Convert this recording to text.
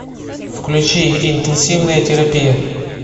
включи интенсивная терапия